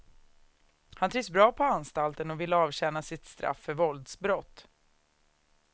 Han trivs bra på anstalten och ville avtjäna sitt straff för våldsbrott.